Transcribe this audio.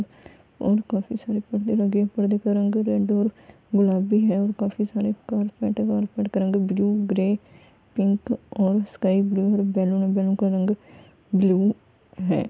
और काफी सारे पर्दे लगे है पर्दे का रंग रेड और गुलाबी है और काफी सारे कार्पेट है कार्पेट का रंग ब्लू ग्रे पिंक और स्काइ ब्लू और बैलून है और बैलून का रंग ब्लू है ।